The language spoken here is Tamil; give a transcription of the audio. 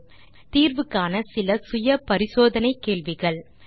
நீங்கள் தீர்வு காண இதோ சில செல்ஃப் அசெஸ்மென்ட் கேள்விகள் 1